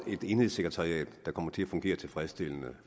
enhedssekretariat der kommer til at fungere tilfredsstillende